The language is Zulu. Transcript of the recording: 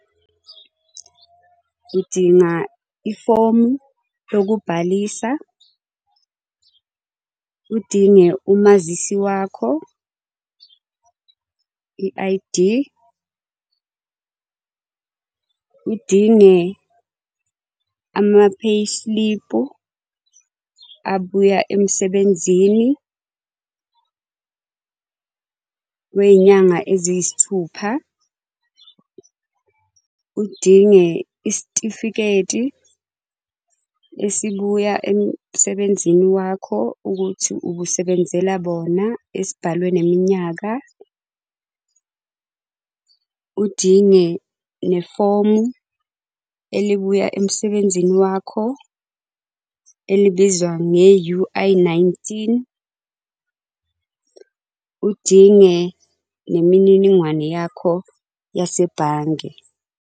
Udinga ifomu lokubhalisa, udinge umazisi wakho i-I_D. Udinge ama-payslip abuya emsebenzini wey'nyanga eziyisithupha. Udinge isitifiketi, esibuya emsebenzini wakho ukuthi ubusebenzela bona esibhalwe neminyaka. Udinge nefomu elibuya emusebenzini wakho elibizwa nge-U_I nineteen. Udinge nemininingwane yakho yasebhange.